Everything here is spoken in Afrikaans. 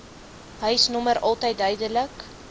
huisnommer altyd duidelik